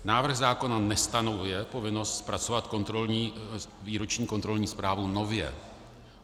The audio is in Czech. Návrh zákona nestanovuje povinnost zpracovat výroční kontrolní zprávu nově.